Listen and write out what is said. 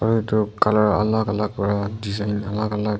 edu color alak alak aru design alak alak.